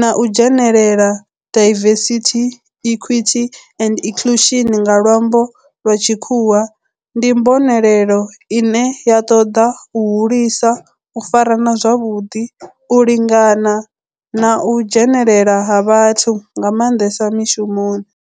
na u dzhenelela, diversity, equity and inclusion nga lwambo lwa tshikhuwa, ndi mbonelelo ine ya toda u hulisa u farana zwavhudi, u lingana na u dzhenelela ha vhathu nga mandesa mishumoni.